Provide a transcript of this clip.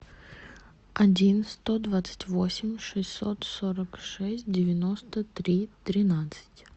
один сто двадцать восемь шестьсот сорок шесть девяносто три тринадцать